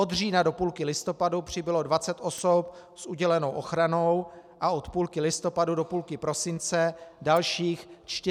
Od října do půlky listopadu přibylo 20 osob s udělenou ochranou a od půlky listopadu do půlky prosince dalších 49 osob.